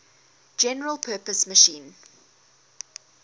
general purpose machine